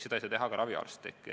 Seda ei saa teha ka raviarst.